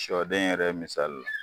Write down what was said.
Sɔden yɛrɛ misali